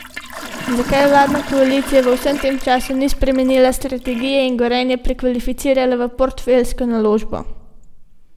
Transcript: Zakaj vladna koalicija v vsem tem času ni spremenila strategije in Gorenja prekvalificirala v portfeljsko naložbo?